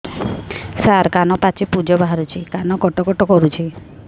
ସାର କାନ ପାଚି ପୂଜ ବାହାରୁଛି କାନ କଟ କଟ କରୁଛି